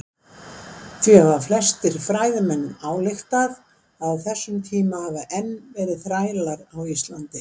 Því hafa flestir fræðimenn ályktað að á þessum tíma hafi enn verið þrælar á Íslandi.